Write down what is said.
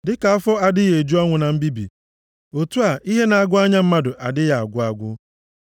Dịka afọ adịghị eju ọnwụ na mbibi, otu a ihe na-agụ anya mmadụ adịghị agwụ agwụ.